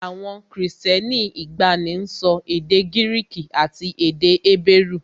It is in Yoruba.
Àwọn Kristẹni ìgbàanì ń sọ èdè Gíríìkì àti èdè Hébérù